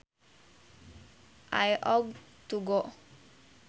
I ought to go